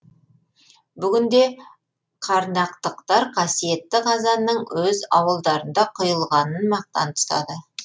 бүгінде қарнақтықтар қасиетті қазанның өз ауылдарында құйылғанын мақтан тұтады